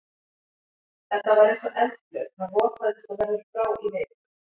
Þetta var eins og eldflaug, hann rotaðist og verður frá í viku.